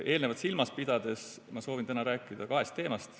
Eelnevat silmas pidades soovin ma täna rääkida kahest teemast.